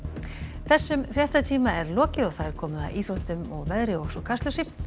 þessum fréttatíma er lokið og komið að íþróttum veðri og Kastljósi